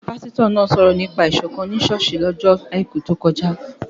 Pásítọ̀ náà sọ̀rọ̀ nípa Ìṣọ̀kán ni ṣọ́ọ̀ṣì ní ọjọ́ àìkú tó kọjá